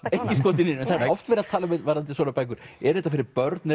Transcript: engin skotin í neinum það er oft verið að tala um varðandi svona bækur er þetta fyrir börn